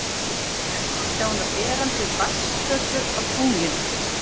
Enn má sjá hana berandi vatnsfötu á tunglinu.